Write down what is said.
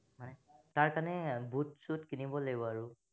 তাৰ কাৰণে বোত সুইট কিনিব লাগিব আৰু